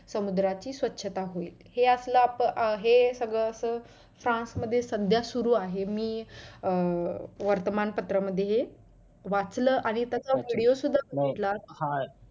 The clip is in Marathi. समुद्राची स्वच्छता होईल हे असलं हे आपण सगळं असं फ्रान्स मध्ये सध्या सुरु आहे. मी अं वर्तमान पत्रामध्ये मध्ये हे वाचल आणि तसा video सुद्धा बघितला.